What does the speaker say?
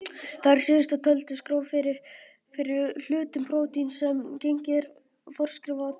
Þær síðast töldu skrá fyrir hlutum prótíns sem genið er forskrift að.